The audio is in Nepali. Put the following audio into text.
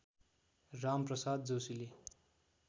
राम प्रसाद जोशीले